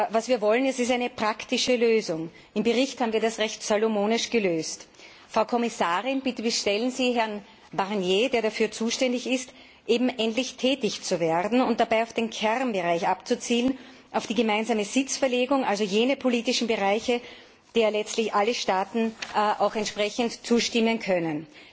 Was wir wollen, ist eine praktische Lösung. Im Bericht haben wir das recht salomonisch gelöst. Frau Kommissarin, bitte bestellen Sie Herrn Barnier, der dafür zuständig ist, endlich tätig zu werden und dabei auf den Kernbereich abzuzielen, auf die gemeinsame Sitzverlegung, also jene politischen Bereiche, denen letztlich alle Staaten entsprechend zustimmen können.